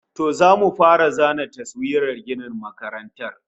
To, zamu fara zana taswirar ginin makarantar